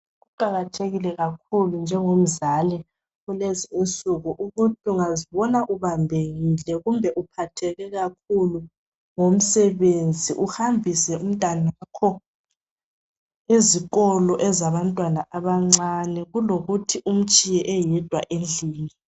Kuqakathekile kakhulu njengomzali ukuthi ungazibona uphathekile loba ubambekile ngomsebenzi uhambise umntwana ezikolo zabantwana abancane kulokuthi umtshiye endlini .